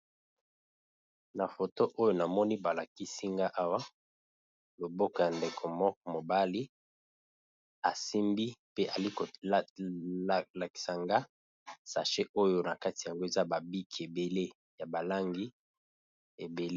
Na foto oyo namoni ba lakisi nga awa loboko ya ndeko moko mobali, asimbi pe ali ko lakisa nga sache oyo na kati yango eza ba biki ebele ya ba langi ebele.